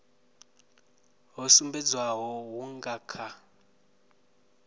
ho sumbedzwaho hu nga kha